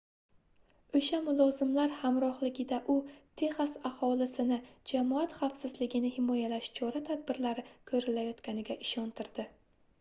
oʻsha mulozimlar hamrohligida u texas aholisini jamoat xavfsizligini himoyalash chora-tadbirlari koʻrilayotganiga ishontirdi